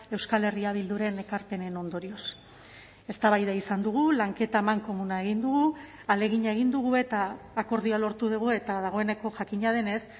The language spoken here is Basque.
euskal herria bilduren ekarpenen ondorioz eztabaida izan dugu lanketa amankomuna egin dugu ahalegina egin dugu eta akordioa lortu dugu eta dagoeneko jakina denez